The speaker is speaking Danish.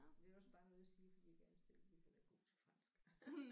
Det er også bare noget jeg siger fordi jeg gerne selv ville være god til fransk